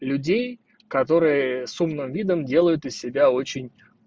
людей которые с умным видом делают из себя очень